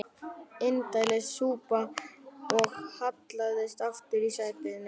Indælis súpa og hallaðist aftur í sætinu.